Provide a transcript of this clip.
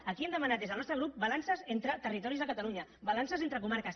aquí hem demanat des del nostre grup balances entre ter·ritoris de catalunya balances entre comarques